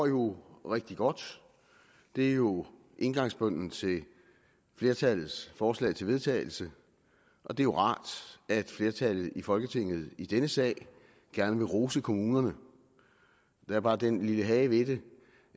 jo går rigtig godt det er jo indgangsbønnen til flertallets forslag til vedtagelse og det er rart at flertallet i folketinget i denne sag gerne vil rose kommunerne der er bare den lille hage ved det